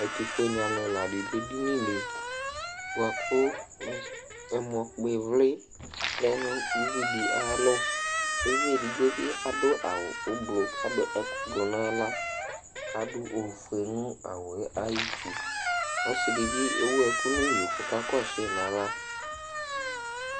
ɛtofue ni alo ɛla do edini li boa ko ɛmɔ kpɔ ivli lɛ no uvi di ayalɔ uvi edigbo bi ado awu ublɔ k'ado ɛkò ublɔ n'ala k'ado ofue no awuɛ ayiti ɔse di bi ewu ɛkò n'iyo kò ɔka kɔsu yi n'ala